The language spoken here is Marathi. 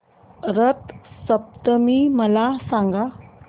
रथ सप्तमी मला सांग